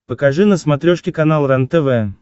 покажи на смотрешке канал рентв